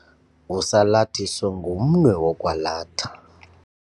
Usalathiso ngumnwe wokwalatha.